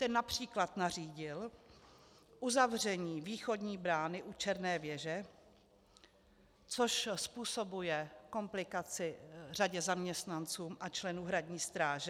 Ten například nařídil uzavření východní brány u Černé věže, což způsobuje komplikaci řadě zaměstnanců a členů hradní stráže.